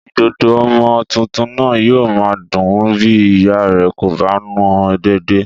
Ìdodo ọmọ tuntun náà yóò máa dùn-ún bí ìyá rẹ̀ kò bá nù-ún dédé